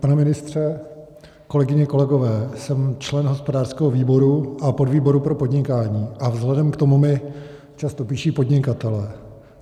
Pane ministře, kolegyně, kolegové, jsem člen hospodářského výboru a podvýboru pro podnikání a vzhledem k tomu mi často píší podnikatelé.